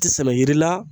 Tɛ sɛnɛ yiri la